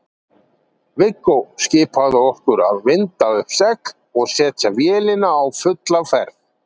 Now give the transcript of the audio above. Viggó skipaði okkur að vinda upp segl og setja vélina á fulla ferð.